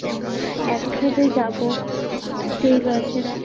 একসাথে যাবো, ঠিক আছে রাখ